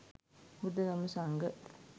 බුද්ධ, ධම්ම, සංඝ,